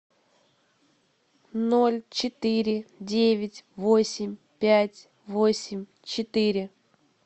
ноль четыре девять восемь пять восемь четыре